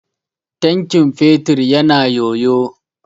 Tankin fetur ya na yoyo.